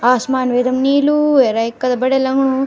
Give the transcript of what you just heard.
आसमान वेदम नीलू वेरइ कथग बढ़िया लगणु।